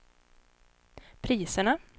priserna